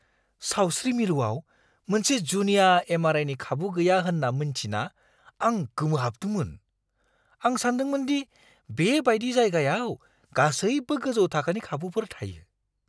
सावस्रि मिरुआव मोनसे जुनिया एम.आर. आइ.नि खाबु गैया होन्ना मिन्थिना आं गोमोहाबदोंमोन। आं सानदोंमोनदि बे बायदि जायगायाव गासैबो गोजौ थाखोनि खाबुफोर थायो।